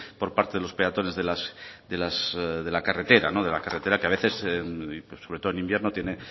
por parte de los peatones de la carretera que a veces sobre todo en invierno tiene